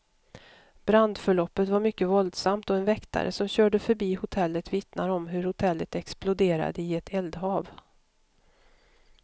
Brandförloppet var mycket våldsamt, och en väktare som körde förbi hotellet vittnar om hur hotellet exploderade i ett eldhav.